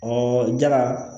jala